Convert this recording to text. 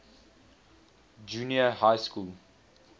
junior high school